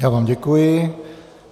Já vám děkuji.